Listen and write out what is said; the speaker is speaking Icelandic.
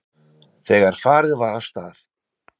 Þegar farið var af stað.